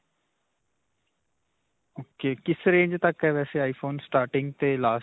ok. ਕਿਸ range ਤੱਕ ਹੈ ਵੈਸੇ iphone starting 'ਤੇ last.